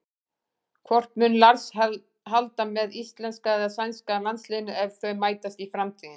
Hvort mun Lars halda með íslenska eða sænska landsliðinu ef þau mætast í framtíðinni?